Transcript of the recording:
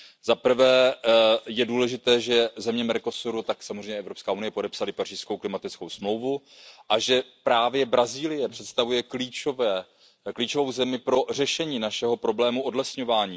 Zaprvé je důležité, že země Mercosuru a samozřejmě i Evropská unie podepsaly pařížskou klimatickou smlouvu a že právě Brazílie představuje klíčovou zemi pro řešení našeho problému odlesňování.